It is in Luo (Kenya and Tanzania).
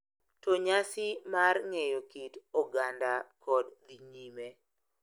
To nyasi mar ng’eyo kit oganda kod dhi nyime.